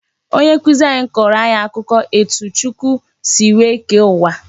Onye nkụzi anyị kọrọ anyị akụkọ etu Chukwu si wee kee uwa